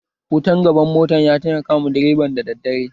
Wutan gaban mota ya taimakawa direban da daddare